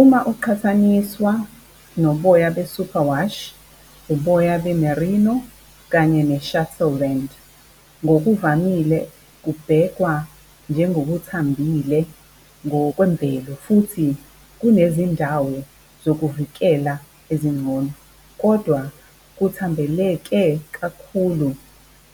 Uma uqhathaniswa noboya be-super wash, uboya be-merino kanye ne-shetland. Ngokuvamile kubhekwa njengokuthambile ngokwemvelo futhi kunezindawo zokuvikela ezingcono. Kodwa, kuthambeleke kakhulu